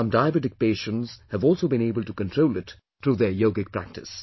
Some diabetic patients have also been able to control it thorough their yogic practice